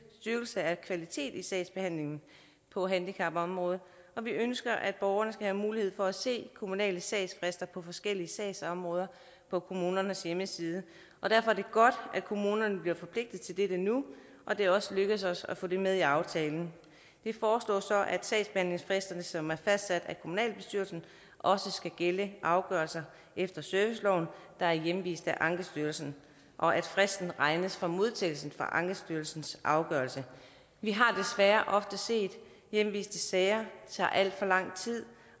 styrkelse af kvaliteten i sagsbehandlingen på handicapområdet og vi ønsker at borgerne skal have mulighed for at se de kommunale sagsfrister på forskellige sagsområder på kommunernes hjemmeside derfor er det godt at kommunerne bliver forpligtet til dette nu og det er også lykkedes os at få det med i aftalen vi foreslår så at sagsbehandlingsfristerne som er fastsat af kommunalbestyrelsen også skal gælde afgørelser efter serviceloven der er hjemvist af ankestyrelsen og at fristen regnes fra modtagelsen af ankestyrelsens afgørelse vi har desværre ofte set at hjemviste sager tager alt for lang tid